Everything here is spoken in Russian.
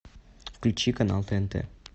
включи канал тнт